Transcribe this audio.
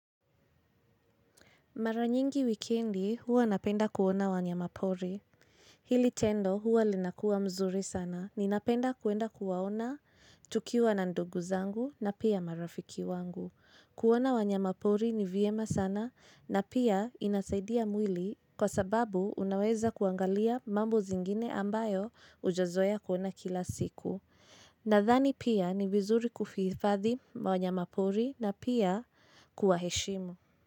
Mara nyingi wikendi huwa napenda kuona wanyama pori. Hili tendo huwa linakua mzuri sana. Ninapenda kuenda kuwaona tukiwa na ndugu zangu na pia marafiki wangu. Kuona wanyama pori ni vyema sana na pia inasaidia mwili kwa sababu unaweza kuangalia mambo zingine ambayo hujazoea kuona kila siku. Nadhani pia ni vizuri kuvihifadhi wanyama pori na pia kuwaheshimu.